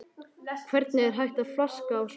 Hvernig er hægt að flaska á svona atriði?